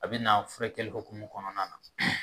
A bɛ na furakɛli hokumu kɔnɔna na.